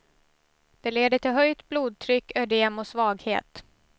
Det leder till höjt blodtryck, ödem och svaghet.